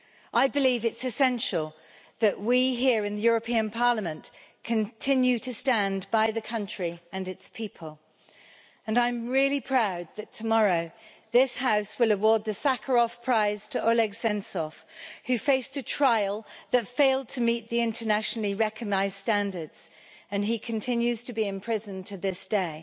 I believe it is essential that we, here in the European Parliament, continue to stand by the country and its people, and I am really proud that tomorrow this House will award the Sakharov Prize to Oleg Sentsov, who faced a trial that failed to meet the internationally recognised standards, and continues to be imprisoned to this day.